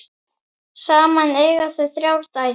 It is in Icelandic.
Saman eiga þau þrjár dætur.